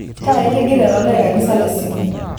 taa itigire to deikani salasini